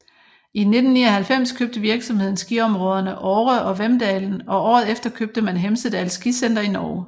I 1999 købte virksomheden skiområderne Åre og Vemdalen og året efter købte man Hemsedal Skisenter i Norge